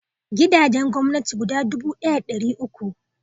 Gidajen gwamnati guda dubu ɗaya da dari uku